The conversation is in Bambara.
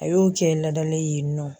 A y'o cɛ in ladalen ye yen nɔ.